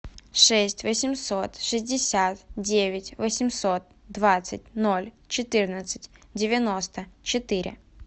шесть восемьсот шестьдесят девять восемьсот двадцать ноль четырнадцать девяносто четыре